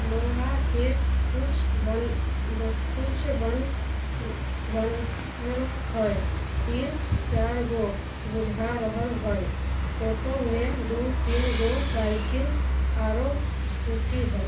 लोहा के कुछ बन बह कुछ बनल हेय तीन चार गो बुझा रहल हेय फोटो में दू-तीन गो साइकिल आरो स्कूटी हेय।